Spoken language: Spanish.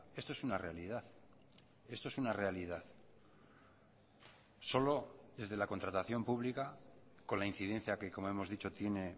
esto es una realidad esto es una realidad solo desde la contratación pública con la incidencia que como hemos dicho tiene